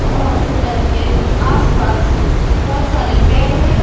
और हॉस्पिटल के आस पास बहोत सारे पेड़ है ।